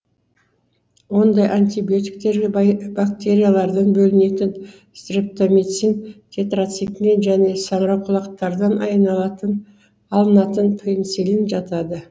ондай антибиотиктерге бактериялардан бөлінетін стрептомицин тетрациклин және саңырауқұлақтардан айналатын алынатын пенициллин жатады